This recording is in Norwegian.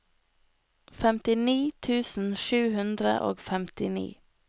femtini tusen sju hundre og femtini